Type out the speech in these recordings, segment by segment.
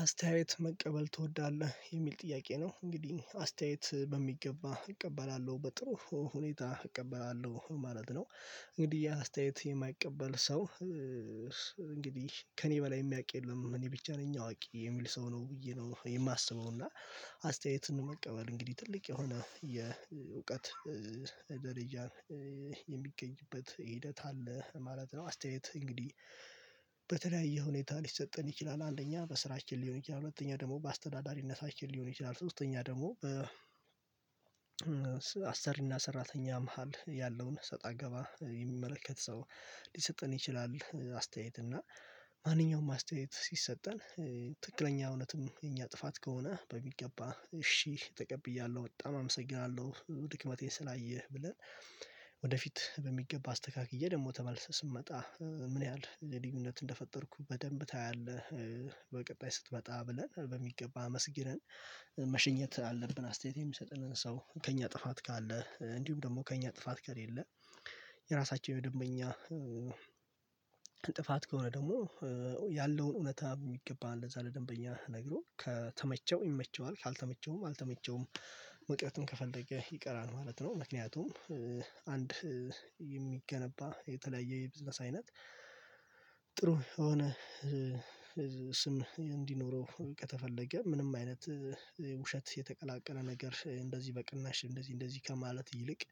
አስተያየት መቀበል ትወዳለህ የሚል ጥያቄ ነው እንግዲህ አስተያየት በሚገባ እቀበላለሁ በጥሩ ሁኔታ እቀበላለሁ ማለት ነው። እንግዲህ ያ አስተያየት የማይቀበል ሰው። ከእኔ በላይ የሚያውቅ የለም እኔ ብቻ ነኝ አዋቂ የሚል ሰው ነው ብዬ ነው የማስበው እና። አስተያየትን መቀበል እንግዲህ ትልቅ የሆነ የእውቀት ደረጃን የሚገኝበት ሂደት አለ ማለት ነው። አስተያየት እንግዲህ በተለያየ ሁኔታ ሊሰጠን ይችላል። አንደኛ በስራችን ሊሆን ይችላል ሁለተኛ ደግሞ በአስተዳዳሪነት ሊሆን ይችላል ሶስተኛ ደግሞ በአሰሪ እና ሰራተኛ መሃል ያለውን እሰጥ አገባ የሚመለከት ሰው ሊሰጥን ይችላል። አስተያየት እና ማንኛውም አስተያየት ሲሰጠን ትክክለኛ እውነትም የኛ ጥፋት ከሆነ በሚገባ እሺ ተቀብያለሁ በጣም አመሰግናለሁ ድክመቴን ስላየህ ብለን። ወደፊት በሚገባ አስተካክዬ ደግሞ ተመልሰህ ስንመጣ ምን ያህል ልዩነት እንደፈጠርኩ በደንብ ታያለህ? በቀጣይ ስትመጣ ብለን በሚገባ አመስግነን መሸኘት አለብን። አስተያየት የሚሰጥንን ሰው ከእኛ ጥፋት ካለ እንዲሁም ደግሞ ከእኛ ጥፋት ከሌለ። የራሳቸው ደንበኛ። ጥፋት ከሆነ ደግሞ ያለውን እውነታ የሚገባህን ለዛ ለደንበኛ ነግሮ ከተመቸው ይመቸዋል ካልተመቸውም አልተመቸውም መቅረትም ከፈለገ ይቀራል ማለት ነው። ምክንያቱም አንድ የሚገነባ የተለያየ የቢዝነስ አይነት። ጥሩ የሆነ ስም እንዲኖረው ከተፈለገ ምንም አይነት ውሸት የተቀላቀለ ነገር እንደዚህ በቅናሽ እንደዚህ እንደዚህ ከማለት ይልቅ።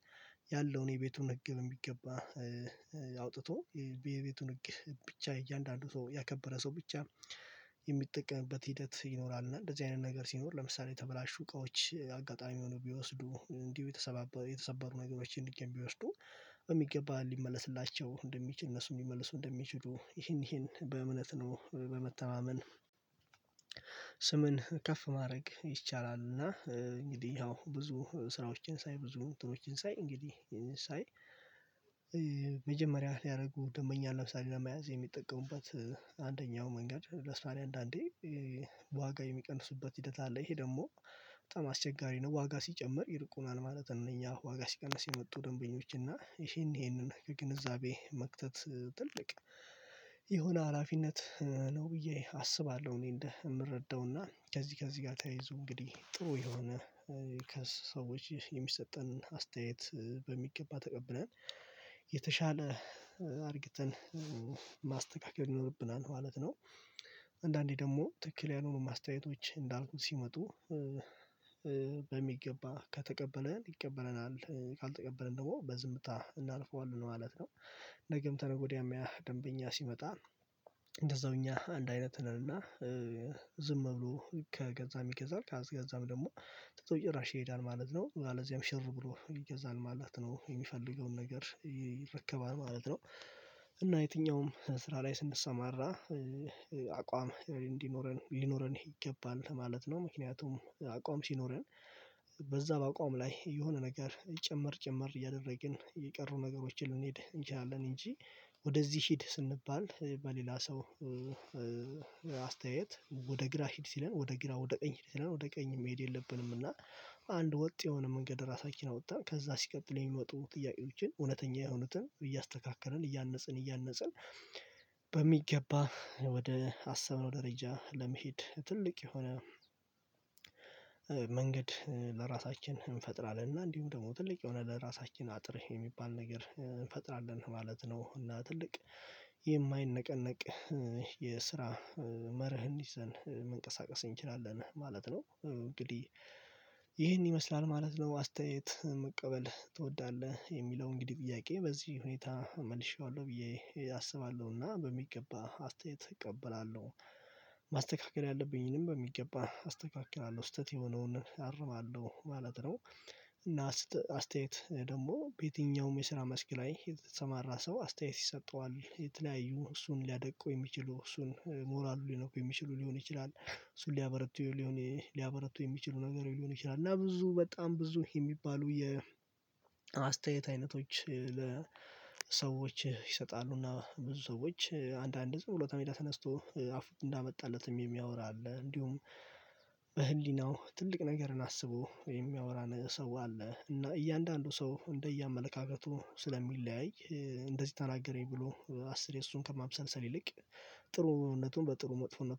ያለውን የቤቱን ህግ የሚገባ አውጥቶ የቤቱን ህግ ብቻ እያንዳንዱ ያከበረ ሰው ብቻ የሚጠቀምበት ሂደት ይኖራል። እና እንደዚህ አይነት ነገር ሲኖር ለምሳሌ ተበላሹ እቃዎች አጋጣሚ ሆኖ ቢወስዱ እንዲሁ የተሰባበሩ ነገሮችን እንዲገባ ቢወስዱ በሚገባ ሊመለስላቸው እንደሚችል እነሱ የሚመልሱ እንደሚችሉ ይሄን ይሄን በእምነት ነው በመተማመን። ስምን ከፍ ማድረግ ይቻላል። እና እንግዲህ ያው ብዙ ስራዎችን ሳይ ብዙ እንትኖችን ሳይ እንግዲህ። ሳይ መጀመሪያ ሊያደርጉ ደንበኛ ለምሳሌ ለመያዝ የሚጠቀሙበት አንደኛው መንገድ ለስራዬ አንዳንዴ ዋጋ የሚቀንሱበት ሂደት አለ ይሄ ደግሞ በጣም አስቸጋሪ ነው። ዋጋ ሲጨምር ይርቁናል ማለት ነው። እኛ ዋጋ ሲቀነስ የመጡ ደንበኞች እና ይሄን ይሄንን ከግንዛቤ መክተት ትልቅ የሆነ ሀላፊነት ነው ብዬ አስባለሁ። እኔ እንደ የምረዳው እና ከዚህ ከዚህ ጋር ተያይዞ እንግዲህ ጥሩ የሆነ ከሰዎች የሚሰጠን አስተያየት በሚገባ ተቀብነን የተሻለ አድርግተን ማስተካከል ይኖርብናል ማለት ነው። አንዳንዴ ደግሞ ትክክል ያልሆኑ አስተያየቶች እንዳልኩት ሲመጡ። በሚገባ ከተቀበለን ይቀበለናል ካልተቀበለን ደግሞ በዝምታ እናልፈዋለን ማለት ነው። ነገም ከነገወዲያም ወዲያም ደንበኛ ሲመጣ እንደዛው እኛ አንድ አይነት ነንና። ብሎ ከገዛ ይገዛል ከአስገዛም ደግሞ ተቶ እየይራሽ ይሄዳል ማለት ነው። ለዚያም ሽር ብሎ ይገዛል ማለት ነው የሚፈልገውን ነገር ይረከባል ማለት ነው። እና የትኛውም ስራ ላይ ስንሰማራ አቋም እንዲኖረን ሊኖረን ይገባል ማለት ነው። ምክንያቱም አቋም ሲኖረን በዛ በአቋም ላይ የሆነ ነገር ጭምር ጭምር እያደረግን የቀሩ ነገሮችን ልንሄድ እንችላለን እንጂ። ወደዚህ ሂድ ስንባል በሌላ ሰው አስተያየት ወደ ግራ ሂድ ሲለን ወደ ግራ ወደ ቀኝ ሂድ ሲለን ወደ ቀኝ መሄድ የለብንም። እና አንድ ወጥ የሆነ መንገድ ራሳችን አውጥተን ከዛ ሲቀጥል የሚወጡ ጥያቄዎችን እውነተኛ የሆኑትን እያስተካከለን እያነጽን እያነጽ ንበሚገባ ወደ አሰበው ደረጃ ለመሄድ ትልቅ የሆነ። መንገድ ለራሳችን እንፈጥራለን እና እንዲሁም ደግሞ ትልቅ የሆነ ለራሳችን አጥርህ የሚባል ነገር እንፈጥራለን ማለት ነው። እና ትልቅ የማይነቀነቅ የስራ መርህ እንዲዘን መንቀሳቀስ እንችላለን ማለት ነው። እንግዲህ ይህን ይመስላል ማለት ነው። አስተያየት መቀበል ትወዳለህ የሚለውን እንግዲህ ጥያቄ በዚህ ሁኔታ መልሼዋለሁ ብዬ አስባለሁና በሚገባ አስተያየት እቀበላለሁ። ማስተካከል ያለብኝንም በሚገባ አስተካክላለሁ ስህተት የሆነውን አርማለሁ ማለት ነው። እና አስተያየት ደግሞ በየትኛውም የስራ መስክ ላይ የተሰማራ ሰው አስተያየት ይሰጠዋል የተለያዩ እሱን ሊያደቁ የሚችሉ እሱን ሞራሉን ሊነኩ የሚችሉ ሊሆን ይችላል እሱን ሊያበረቱ ሊያበረቱ የሚችሉ ነገር ሊሆን ይችላል። እና ብዙ በጣም ብዙ የሚባሉ የአስተያየት አይነቶች ለሰዎች ይሰጣሉ። እና ብዙ ሰዎች አንዳንድ ዝም ብሎ ከሜዳ ተነስቶ አፉ እንዳመጣለትም የሚያወራ አለ። እንዲሁም በህሊናው ትልቅ ነገርን አስቦ የሚያወራን ሰው አለ። እና እያንዳንዱ ሰው እንደየአመለካከቱ ስለሚለያይ እንደዚህ ተናገረኝ ብሎ አስር የሱን ከማብሰልሰል ይልቅ ጥሩነቱን በጥሩ መጥፎነት